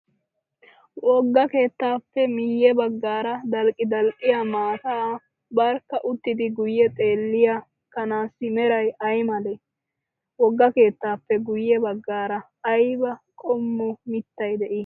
Wogga keettaappe miyye baggaara dalqqidalqqiyaa maata barkka uttidi guyye xeelliyaa kanaassi merayi ayi malee? Wogga keettaappe guyye baggaara ayiba qommo mittayi de'ii?